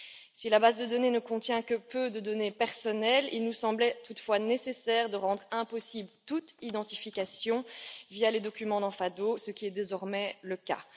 Si la base de données ne contient que peu de données personnelles, il nous semblait toutefois nécessaire de rendre impossible toute identification via les documents dans FADO, ce qui est désormais le cas.